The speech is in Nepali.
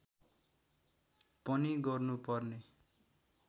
पनि गर्नु पर्ने